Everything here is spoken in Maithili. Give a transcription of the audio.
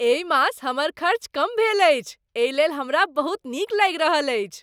एहि मास हमर खर्च कम भेल अछि एहि लेल हमरा बहुत नीक लागि रहल अछि।